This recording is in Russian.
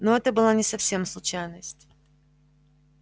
ну это была не совсем случайность